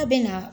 A bɛ na